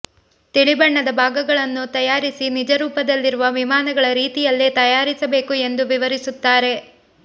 ತಿಳಿ ಬಣ್ಣದ ಭಾಗಗಳನ್ನು ತಾಯಾರಿಸಿ ನಿಜರೂಪದಲ್ಲಿರುವ ವಿಮಾನಗಳ ರೀತಿಯಲ್ಲೇ ತಯಾರಿಸಬೇಕು ಎಂದು ವಿವರಿಸುತ್ತಾರೆ